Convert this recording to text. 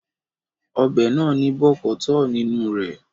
Ọbẹ̀ náà ní bọ̀kọ̀tọ́ọ̀ nínú re